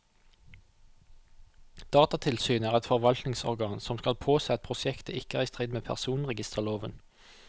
Datatilsynet er et forvaltningsorgan som skal påse at prosjektet ikke er i strid med personregisterloven.